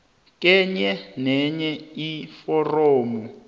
kenye nenye iforamu